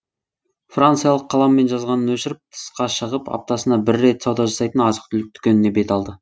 франциялық қаламмен жазғанын өшіріп тысқа шығып аптасына бір рет сауда жасайтын азық түлік дүкеніне бет алды